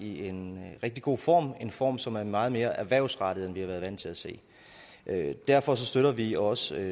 i en rigtig god form form som er meget mere erhvervsrettet end vi har været vant til at se derfor støtter vi også